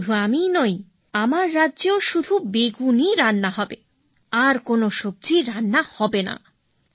আর শুধু আমি নই আমার রাজ্যেও শুধু বেগুনই রান্না হবে আর কোন সবজি রান্না হবে না